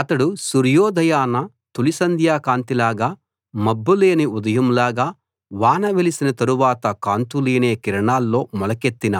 అతడు సూర్యోదయాన తొలిసంధ్య కాంతిలాగా మబ్బు లేని ఉదయం లాగా వాన వెలిసిన తరువాత కాంతులీనే కిరణాల్లో మొలకెత్తిన